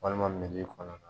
Walima midi kɔnɔna